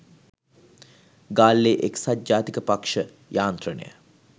ගාල්ලේ එක්සත් ජාතික පක්ෂ යාන්ත්‍රණය